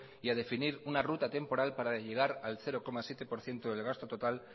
y a definir una ruta temporal para llegar al cero coma siete por ciento del gasto total